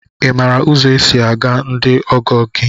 I maara ụzọ e si aga ndị ọgọ gị?